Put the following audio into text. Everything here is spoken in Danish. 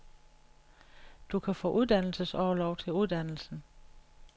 Du kan få uddannelsesorlov til uddannelsen.